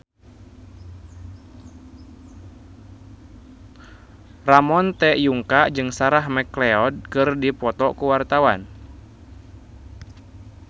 Ramon T. Yungka jeung Sarah McLeod keur dipoto ku wartawan